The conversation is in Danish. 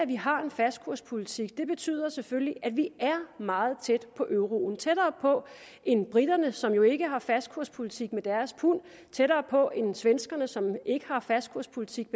vi har en fastkurspolitik betyder selvfølgelig at vi er meget tæt på euroen og tættere på end briterne som jo ikke har en fastkurspolitik for deres pund og tættere på end svenskerne som ikke har en fastkurspolitik